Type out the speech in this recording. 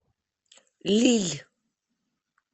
лилль